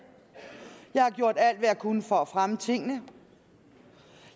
jeg har gjort alt hvad jeg kunne for at fremme tingene